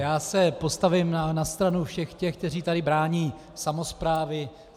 Já se postavím na stranu všech těch, kteří tady brání samosprávy.